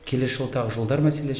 келесі жыл тағы жолдар мәселесі